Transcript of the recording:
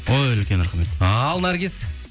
ой үлкен рахмет ал наргиз